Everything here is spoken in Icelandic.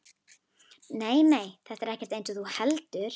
Nei, nei, þetta er ekkert eins og þú heldur.